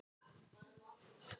Ökumenn fari varlega á öskudegi